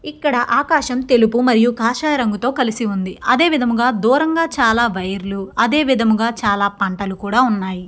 ఇక్కడ ఆకాశం తెలుపు మరియు కాషాయ రంగుతో కలిసి ఉంది అదే విధముగా దూరంగా చాలా వైర్ లు అదే విధముగా చాలా పంటలు కూడా ఉన్నాయి.